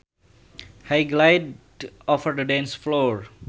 He glided over the dance floor